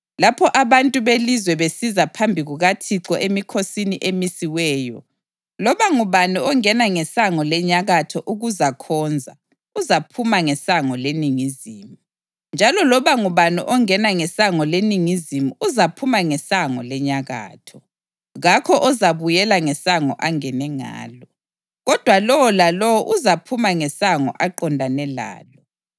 Lapho abantu belizwe besiza phambi kukaThixo emikhosini emisiweyo, loba ngubani ongena ngesango lenyakatho ukuzakhonza uzaphuma ngesango leningizimu; njalo loba ngubani ongena ngesango leningizimu uzaphuma ngesango lenyakatho. Kakho ozabuyela ngesango angene ngalo, kodwa lowo lalowo uzaphuma ngesango aqondane lalo.